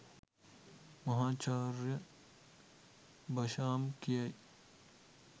මහාචාර්ය බෂාම් කියයි